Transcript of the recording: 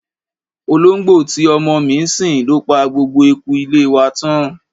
Olóńgbò tí ọmọ mi ń sìn ló pa gbogbo eku ilé wa tán.